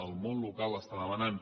el món local ho està demanant